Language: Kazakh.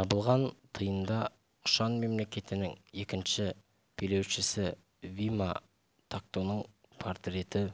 табылған тиында құшан мемлекетінің екінші билеушісівима тактоның портреті